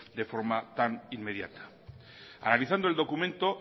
de forma tan inmediata analizando el documento